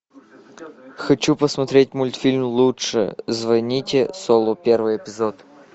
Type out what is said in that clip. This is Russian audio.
хочу посмотреть мультфильм лучше звоните солу первый эпизод